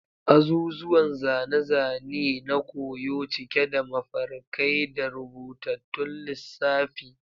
Azuzuwan zane-zane ne na koyo, cike da mafarkai da rubutattun lissafi.